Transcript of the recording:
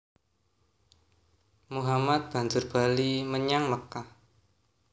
Muhammad banjur bali menyang Mekkah